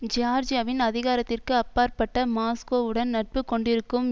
ஜியார்ஜியாவின் அதிகாரத்திற்கு அப்பாற்பட்ட மாஸ்கோவுடன் நட்பு கொண்டிருக்கும்